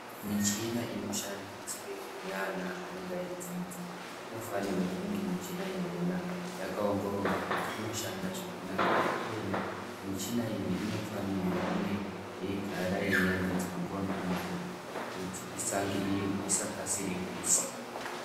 Michina inoshandiswe neana anenge aidzidza inofanirwe kuti michina iyona yakaongororwa kuti inoshanda zvakanaka ere. Uyena michina iyi inofanirwe kuti yeigara yeiyambidzwa nguva ngenguva kuti isa kasire kufa.